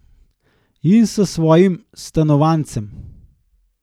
In s svojim stanovanjcem.